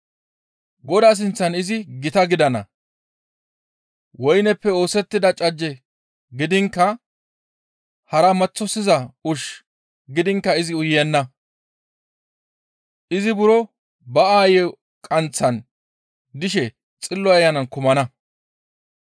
Godaa sinththan izi gita gidana. Woyneppe oosettida cajje gidiinkka hara maththosiza ushshu gidiinkka izi uyenna; izi buro ba aayey qanththan dishe Xillo Ayanan kumana.